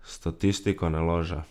Statistika ne laže.